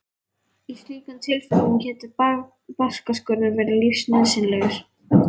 Í slíkum tilfellum getur barkaskurður verið lífsnauðsynlegur.